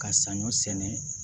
Ka saɲɔ sɛnɛ